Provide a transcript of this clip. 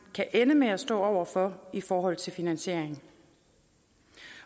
kan ende med at stå over for i forhold til finansiering